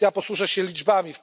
Ja posłużę się liczbami.